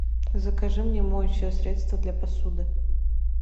закажи мне моющее средство для посуды